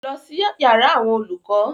Lọ sí yàrá àwọn olùkọ́!